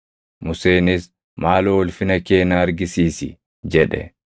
Museenis, “Maaloo ulfina kee na argisiisi” jedhe.